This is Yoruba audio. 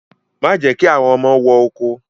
Má jẹ́ kí àwọn ọmọ wọ oko